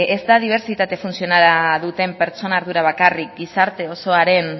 ez da dibertsitate funtzionala duten pertsonen ardura bakarrik gizartea osoaren